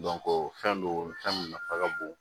fɛn don fɛn min nafa ka bon